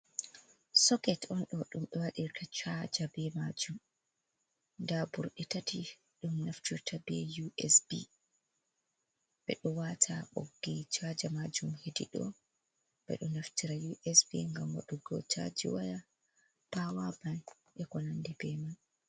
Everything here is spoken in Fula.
Soket on ɗo ɗum ɓe waɗirta chaja, be maajum nda ɓurɗe tati ɗum naftirta be USB. Ɓe ɗo waata ɓoggi chaja maajum hediɗo, ɓe ɗo naftira USB, ngam wadugo chaji waya, pawa bat e ko n'anɗi be man.